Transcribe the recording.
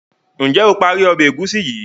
njé o parí Ọbẹ̀ egusi yi?